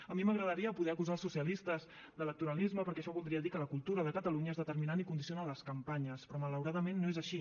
a mi m’agradaria poder acusar els socialistes d’electoralisme perquè això voldria dir que la cultura de catalunya és determinant i condiciona les campanyes però malauradament no és així